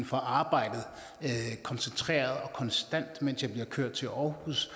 får arbejdet koncentreret og konstant mens jeg bliver kørt til aarhus